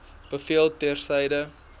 bevel ter syde